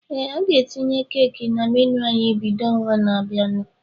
Ee, a ga etinye Keeki na menu ányị́ bido n'ọnwa na-abịanụ